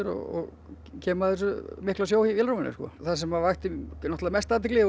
og kem að þessum mikla sjó í það sem að vakti náttúrlega mesta athygli